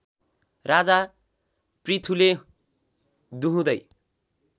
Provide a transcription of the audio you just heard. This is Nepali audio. राजा पृथुले दुहुँदै